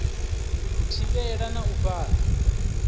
u thivhela na u fhaṱa